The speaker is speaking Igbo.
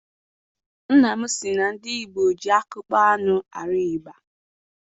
Nna m sị na ndị Igbo ji akpụkpọ anụ arụ ịgba.